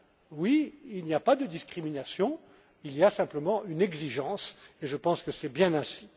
Oui, il n'y a pas de discriminations, il y a simplement une exigence, et je pense que c'est bien ainsi.